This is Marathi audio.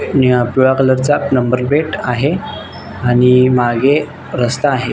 निळ पिवळ्या कलर चा नंबर प्लेट आहे आणि मागे रस्ता आहे.